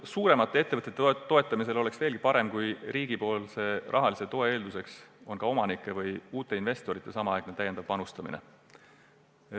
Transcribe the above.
Suuremate ettevõtete toetamisel oleks veelgi parem, kui riigi rahalise toe eelduseks oleks ka omanike või uute investorite samaaegne täiendav panustamine.